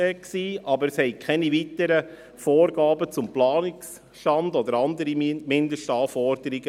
Aber es bestanden keine weiteren Vorgaben zum Planungsstand oder andere Mindestanforderungen.